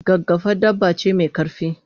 gaggafa dabba ce me karfi